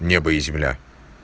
небо и земля